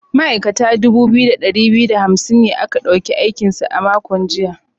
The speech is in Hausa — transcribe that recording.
Ma’aikata dubu biyu da dari biyu da hamsin ne aka dauki aiki a makon jiya.